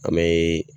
An bɛ